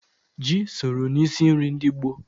Ji soro n'isi nri ndị gboo.